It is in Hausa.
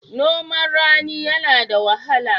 Noman rani yana da wahala.